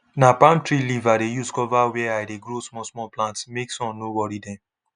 na palm tree leaf i dey use cover where i dey grow small small plants make sun no worry them